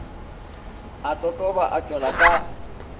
a totoba a tšwela ka